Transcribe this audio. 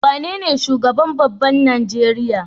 Wane ne shugaban babban Nigeria?